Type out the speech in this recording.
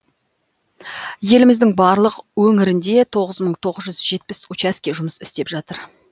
еліміздің барлық өңірінде тоғыз мың тоғыз жүз жетпіс учаске жұмыс істеп жатыр